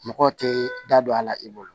Mɔgɔ tɛ da don a la i bolo